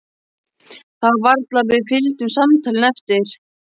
Það var varla að við fylgdum samtalinu eftir.